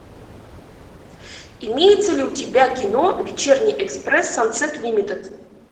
имеется ли у тебя кино вечерний экспресс сансет лимитед